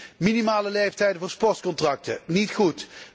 Wij zien minimale leeftijden voor sportcontracten. Niet goed!